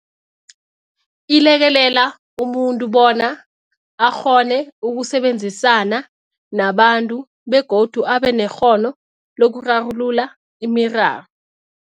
Ilekelela umuntu bona akghone ukusebenzisana nabantu begodu abe nekghono lokurarulula imiraro.